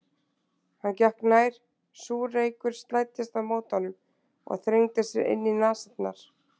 Hann gekk nær, súr reykur slæddist á móti honum og þrengdi sér inn í nasirnar.